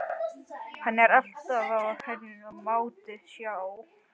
Hann er alltaf á hraðferð, maðurinn sá.